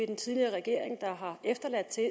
den tidligere regering havde efterladt til